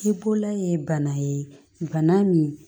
Ji bola ye bana ye bana min